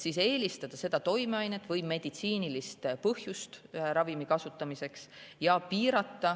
Siis tuleb eelistada seda toimeainet ning arvestada meditsiinilist põhjust ravimi kasutamiseks.